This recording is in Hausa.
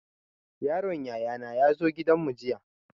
Yaron yaya na ya zo gidan mu jiya